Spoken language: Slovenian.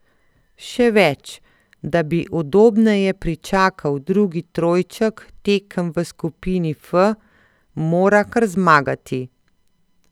Še več, da bi udobneje pričakal drugi trojček tekem v skupini F, mora kar zmagati.